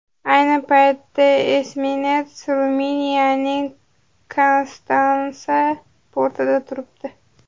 Ayni paytda esminets Ruminiyaning Konstansa portida turibdi.